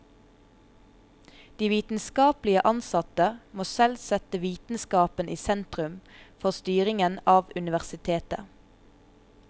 De vitenskapelige ansatte må selv sette vitenskapen i sentrum for styringen av universitetet.